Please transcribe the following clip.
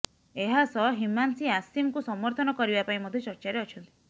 ଏହା ସହ ହିମାନ୍ସି ଆସିମ୍ଙ୍କୁ ସମର୍ଥନ କରିବା ପାଇଁ ମଧ୍ୟ ଚର୍ଚ୍ଚାରେ ଅଛନ୍ତି